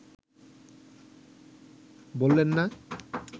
বললেন না